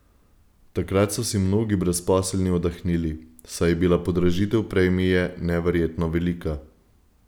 Takrat so si mnogi brezposelni oddahnili, saj je bila podražitev premije neverjetno velika.